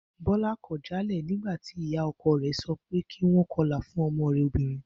Bó̩lá kò̩ jálè̩ nígbà tí ìyá o̩ko̩ rè̩ so pé kí wó̩n ko̩lá fún o̩mo̩ rè̩ obìnrin